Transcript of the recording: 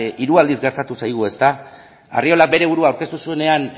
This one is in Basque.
hiru aldiz gertatu zaigu arriolak bere burua aurkeztu zuenean